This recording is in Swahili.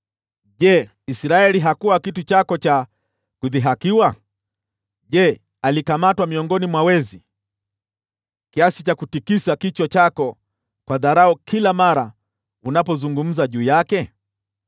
Je, Israeli hakuwa kitu chako cha kudhihakiwa? Je, alikamatwa miongoni mwa wezi, kiasi cha kutikisa kichwa chako kwa dharau kila mara unapozungumza juu yake?